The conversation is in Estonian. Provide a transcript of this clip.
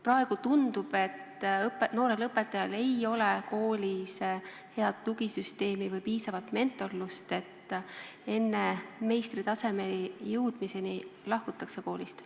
Praegu tundub, et noorel õpetajal ei ole koolis head tugisüsteemi või piisavalt mentorlust, enne meistritasemele jõudmist lahkutakse koolist.